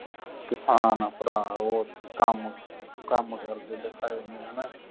ਕਿਸਾਨ ਭਰਾ ਓਥੇ ਕਾਮ ਕਾਮ ਕਰਦੇ ਦਿਖਾਏ ਮੈਂ